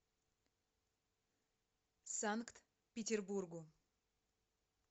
санкт петербургу